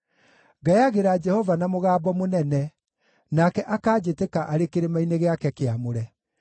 Ngayagĩra Jehova na mũgambo mũnene, nake akanjĩtĩka arĩ kĩrĩma-inĩ gĩake kĩamũre.